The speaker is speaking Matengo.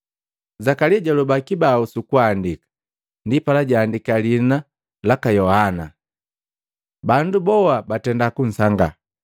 Zakalia jaloba kibau sukuandaki, ndipala jaandika, “Lihina laki Yohana!” Bandu boha batenda kusangaa.